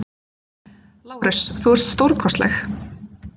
LÁRUS: Þú ert stórkostleg!